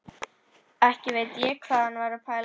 Ekki veit ég hvað hann var að pæla.